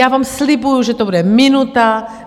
Já vám slibuji, že to bude minuta.